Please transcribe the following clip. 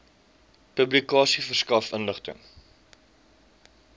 publikasie verskaf inligting